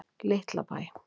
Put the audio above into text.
Litlabæ